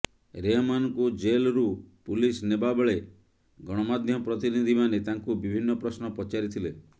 ରେହମାନଙ୍କୁ ଜେଲ୍ରୁ ପୁଲିସ ନେବାବେଳେ ଗଣମାଧ୍ୟମ ପ୍ରତିନିଧିମାନେ ତାଙ୍କୁ ବିଭିନ୍ନ ପ୍ରଶ୍ନ ପଚାରିଥିଲେ